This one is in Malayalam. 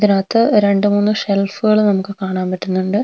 ഇതിനകത്ത് രണ്ടുമൂന്ന് ഷെൽഫുകള് നമുക്ക് കാണാൻ പറ്റുന്നുണ്ട്.